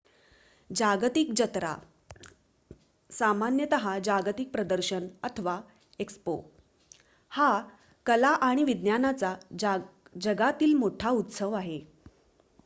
जागतिक जत्रा सामान्यत: जागतिक प्रदर्शन अथवा एक्स्पो हा कला आणि विज्ञानाचा जगातील मोठा उत्सव आहे